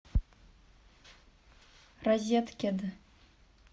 розеткед